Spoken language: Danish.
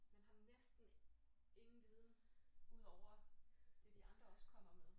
Man har næsten ingen viden ud over det de andre også kommer med